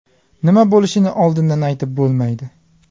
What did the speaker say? Nima bo‘lishini oldindan aytib bo‘lmaydi.